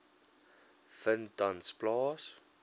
vind tans plaas